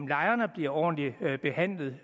lejerne bliver ordentligt behandlet